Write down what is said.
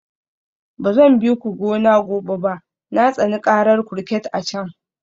Ba zan bi ku gona gobe ba, na tsani karar kurket a can